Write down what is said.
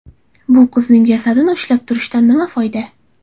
Bu qizning jasadini ushlab turishdan nima foyda?